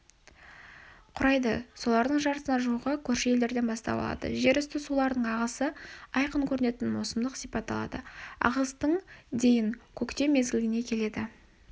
құрайды солардың жартысына жуығы көрші елдерден бастау алады жер үсті суларының ағысы айқын көрінетін маусымдық сипат алады ағыстың дейін көктем мезгіліне келеді